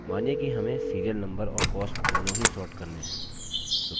मानिए कि हमें serial नम्बर और cost दोनों ही sort करने हैं